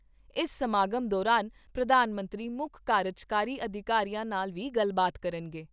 ਇਸ ਸਮਾਗਮ ਦੌਰਾਨ ਪ੍ਰਧਾਨ ਮੰਤਰੀ ਮੁੱਖ ਕਾਰਜਕਾਰੀ ਅਧਿਕਾਰੀਆਂ ਨਾਲ ਵੀ ਗੱਲਬਾਤ ਕਰਨਗੇ।